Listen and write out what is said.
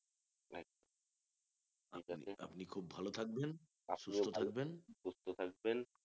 আপনি খুব ভালো থাকবেন সুস্থ থাকবেন